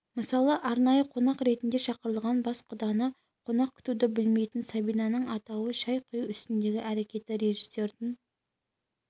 мысалы арнайы қонақ ретінде шақырылған бас құданы қонақ күтуді білмейтін сабинаның атауы шай құю үстіндегі әрекеті режиссердің